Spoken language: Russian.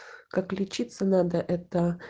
как лечиться надо это